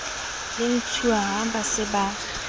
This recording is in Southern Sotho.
le ntshiuwa ba se ba